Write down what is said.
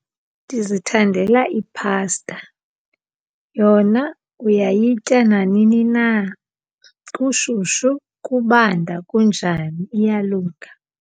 Ndizithandela iphasta. Yona uyayitya nanini na, kushushu, kubanda, kunjani iyalunga.